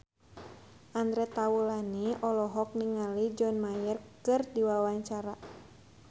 Andre Taulany olohok ningali John Mayer keur diwawancara